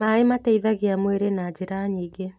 Maĩmateithagia mwĩrĩna njĩra nyingĩ.